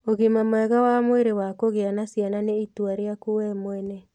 Ũgima mwega wa mwĩrĩ wa kũgĩa na ciana nĩ itua rĩaku we mwene.